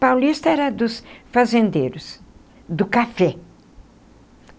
Paulista era dos fazendeiros, do café.